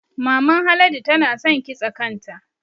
Maman Haladu tana san kitsa kanta